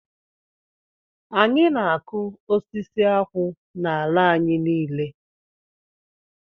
Anyị na-akụ osisi akwụ n'ala anyị niile